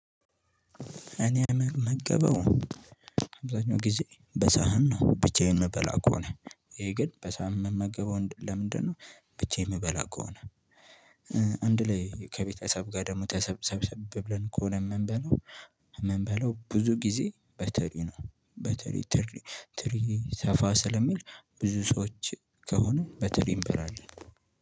እኔ የምመገበው አብዛኛው ጊዜ በሳህን ነው። ብቻዬን ምበላ ከሆነ ይሄ ግን በሳህን ምመገበው ለምንድነው? ብቻዬ የምበላ ከሆነ። አንድ ላይ ከቤተሰብ ጋር ደግሞ ተሰብሰብ ብለን ከሆነ የምንበለው የምንበለው ብዙ ጊዜ በትሪ ነው። በትሪ ትሪ ትሪ ሰፋ ስለሚል ብዙ ሰዎች ከሆኑ በትሪ እንበላለን።